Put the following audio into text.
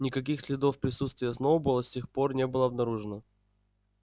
никаких следов присутствия сноуболла с тех пор не было обнаружено